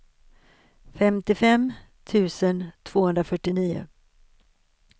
femtiofem tusen tvåhundrafyrtionio